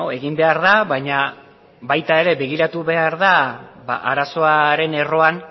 egin behar da baina baita ere begiratu behar da arazoaren erroan